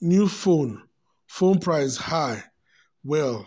new phone phone price high um well um